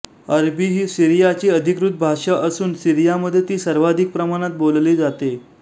अरबी ही सीरियाची अधिकृत भाषा असुन सिरीयामधे ती सर्वाधिक प्रमाणात बोलली जाते